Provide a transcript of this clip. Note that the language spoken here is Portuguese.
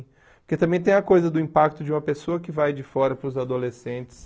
Porque também tem a coisa do impacto de uma pessoa que vai de fora para os adolescentes.